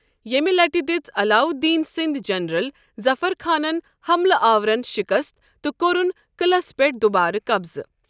ییٚمہ لٹہ دٔژ علااۭلدینٕ سٕنٛدۍ جنٛریل ظفر خانن حَملہٕ آورن شِکست تہٕ کوٚرُن قٕعلس پٮ۪ٹھ دوبارٕ قبضہٕ۔